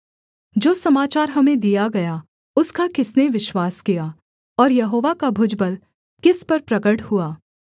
जो समाचार हमें दिया गया उसका किसने विश्वास किया और यहोवा का भुजबल किस पर प्रगट हुआ